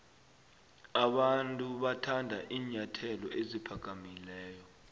abantu bathanda iinyathelo eziphakamileyo